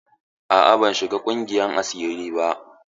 A'a, ban shiga ƙungiyar asiri ba.